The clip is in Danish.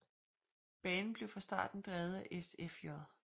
Banen blev fra starten drevet af SFJ